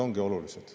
Võimed ongi olulised.